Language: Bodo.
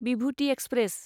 विभुति एक्सप्रेस